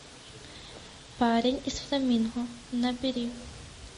парень из фламинго набери